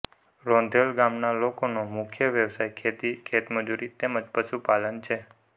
રોંધેલ ગામના લોકોનો મુખ્ય વ્યવસાય ખેતી ખેતમજૂરી તેમ જ પશુપાલન છે